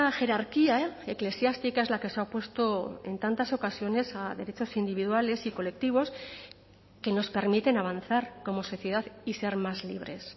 jerarquía eclesiástica es la que se ha opuesto en tantas ocasiones a derechos individuales y colectivos que nos permiten avanzar como sociedad y ser más libres